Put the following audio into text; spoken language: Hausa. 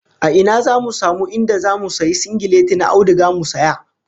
A ina zamu samu inda zamu sayi singileti na auduga mu saya?